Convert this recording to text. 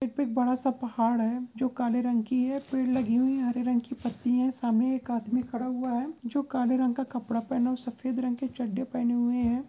यहाँ पे एक बड़ा सा पहाड़ है जो काले रंग की है पेड़ लगी हुई हरे रंग की पत्तियां है सामने एक आदमी खड़ा हुआ है जो काले रंग का कपड़ा पहना और सफेद रंग की चड्डी पहने हुए है ।